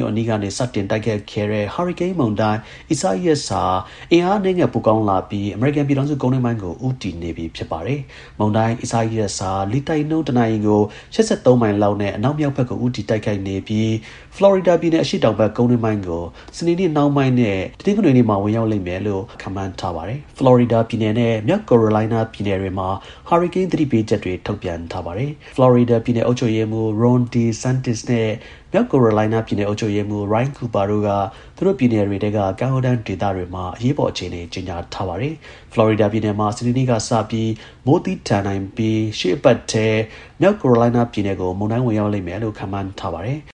ို့အနီးကနေ စတင်တိုက်ခတ်ခဲ့တဲ့ ဟာရီကိန်းမုန်တိုင်း Isaias ဟာ အင်အားအနည်းငယ် ပိုကောင်းလာပြီး အမေရိကန်ပြည်ထောင်စု ကုန်းတွင်းပိုင်းကို ဦးတည်နေပါတယ်။ မုန်တိုင်း Isaias ဟာ လေတိုက်နှုန်း တနာရီကို ၈၃ မိုင်လောက်နဲ့ အနောက်မြောက်ဘက်ကို ဦးတည်တိုက်ခတ်နေပြီး ဖလော်ရီဒါပြည်နယ် အရှေ့တောင်ဘက် ကုန်းတွင်းပိုင်းကို စနေနေ့နှောင်းပိုင်းနဲ့ တနင်္ဂနွေနေ့တွေမှာ ဝင်ရောက်လိမ့်မယ်လို့ မိုးလေဝသဌာနက ခန့်မှန်းထားပါတယ်။ ဖလော်ရီဒါပြည်နယ်နဲ့ မြောက်ကယ်ရိုလိုင်းနား ပြည်နယ်တွေမှာ ဟာရီကိန်း သတိပေးချက်တွေ ထုတ်ပြန်ထားပါတယ်။ ဖလော်ရီဒါပြည်နယ် အုပ်ချုပ်ရေးမှူး Ron DeSantis နဲ့ မြောက်ကယ်ရိုလိုင်းနားပြည်နယ် အုပ်ချုပ်ရေးမှူး Roy Cooper တို့က သူတို့ပြည်နယ်တွေထဲက ကမ်းရိုးတန်းဒေသတွေမှာ အရေးပေါ်အခြေအနေ ကြေညာထားပါတယ်။ ဖလော်ရီဒါပြည်နယ်မှာ စနေနေ့ကစပြီး မိုးသည်းထန်နိုင်ပြီး ရှေ့အပတ်ထဲ မြောက်ကယ်ရိုလိုင်းနားပြည်နယ်ကို မုန်တိုင်းဝင်ရောက်မယ်လို့ ခန့်မှန်းထားပါတယ်။